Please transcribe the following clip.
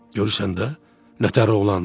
Görürsən də, nə təhər oğlandır!